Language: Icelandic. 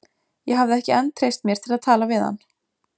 Ég hafði ekki enn treyst mér til að tala við hann.